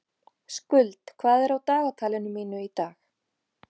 Skuld, hvað er á dagatalinu mínu í dag?